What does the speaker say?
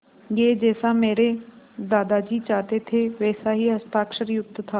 यह जैसा मेरे दादाजी चाहते थे वैसा ही हस्ताक्षरयुक्त था